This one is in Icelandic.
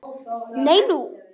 Nei, nú?